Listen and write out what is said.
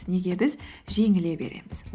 неге біз жеңіле береміз